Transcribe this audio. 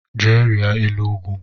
Jee rịa elu ugwu!